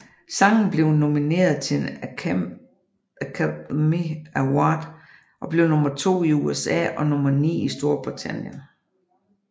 Sangen blev nomineret til en Academy Award og blev nummer to i USA og nummer ni i Storbritannien